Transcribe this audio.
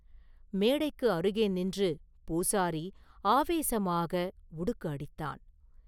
மேடைக்கு அருகே நின்று பூசாரி ஆவேசமாக உடுக்கு அடித்தான்.